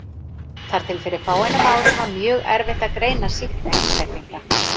Þar til fyrir fáeinum árum var mjög erfitt að greina sýkta einstaklinga.